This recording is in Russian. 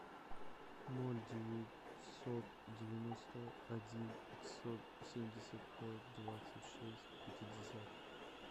ноль девятьсот девяносто один пятьсот семьдесят пять двадцать шесть пятьдесят